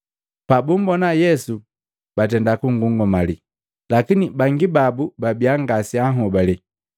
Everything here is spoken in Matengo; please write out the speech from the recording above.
Pabumbona Yesu batenda kungungamali, lakini bangi babu babiya ngaseanhobale.